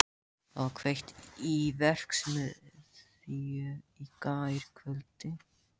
Það var kveikt í verksmiðju hér í gærkvöldi.